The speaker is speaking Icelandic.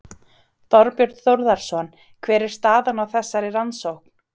Þorbjörn Þórðarson: Hver er staðan á þessari rannsókn?